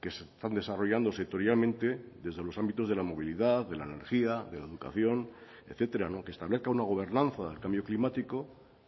que se están desarrollando sectorialmente desde los ámbitos de la movilidad de la energía de la educación etcétera que establezca una gobernanza del cambio climático